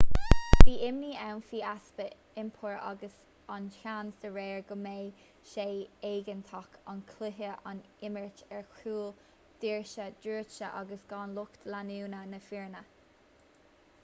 bhí imní ann faoi easpa iompair agus an seans dá réir go mbeadh sé éigeantach an cluiche a imirt ar chúl doirse druidte agus gan lucht leanúna na foirne